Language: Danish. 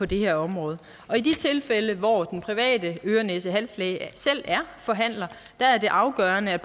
det her område i de tilfælde hvor den private øre næse hals læge selv er forhandler er det afgørende at